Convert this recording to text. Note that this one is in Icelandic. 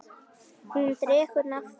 Hún dregur nafn af